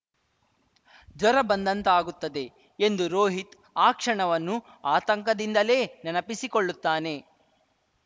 ಜ್ವರ ಬಂದಂತಾಗುತ್ತದೆ ಎಂದು ರೋಹಿತ್‌ ಆ ಕ್ಷಣವನ್ನು ಆತಂಕದಿಂದಲೇ ನೆನಪಿಸಿಕೊಳ್ಳುತ್ತಾನೆ